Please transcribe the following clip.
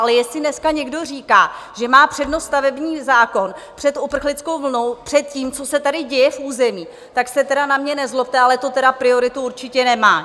Ale jestli dneska někdo říká, že má přednost stavební zákon před uprchlickou vlnou, před tím, co se tady děje v území, tak se tedy na mě nezlobte, ale to tedy prioritu určitě nemá.